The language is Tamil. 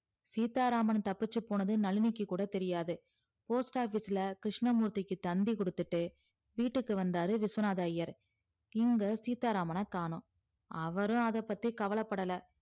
சீத்தாராமன் தப்பிச்சி போனது நளினிக்கு கூட தெரியாது postoffice ல கிருஸ்னமூர்த்திக்கு தந்தி கொடுத்துட்டு வீட்டுக்கு வந்தாரு விஸ்வநாதர் ஐயர் இங்கு சீத்தாராமன காணும் அவரும் அத பத்தி கவல படல